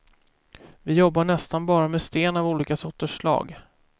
Vi jobbar nästan bara med sten av olika sorters slag.